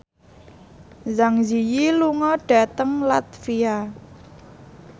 Zang Zi Yi lunga dhateng latvia